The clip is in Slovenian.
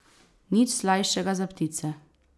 Nič slajšega za ptice!